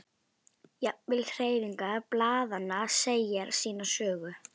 Jafnvel hreyfingar blaðanna segja sína sögu.